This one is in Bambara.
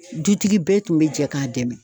Dutigi bɛɛ tun be jɛ k'a dɛmɛ